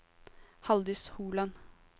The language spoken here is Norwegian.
Haldis Holand